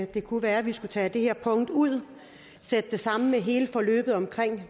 det kunne være vi skulle tage det her punkt ud og sætte det sammen med hele forløbet om